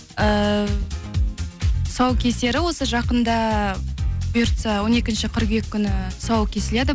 эээ тұсаукесері осы жақында бұйыртса он екінші қыркүйек күні тұсауы кесіледі